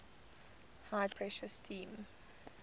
high pressure steam